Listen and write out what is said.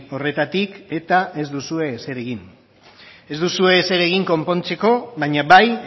horretatik eta ez duzue ezer egin ez duzue ezer egin konpontzeko baina bai